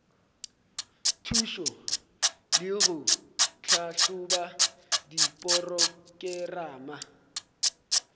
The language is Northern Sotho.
thušo le go tlhahloba diporokerama